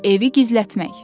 Evi gizlətmək.